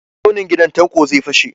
Tsaunin gidan Tanko zai fashe.